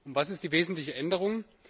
Was ist die wesentliche Änderung?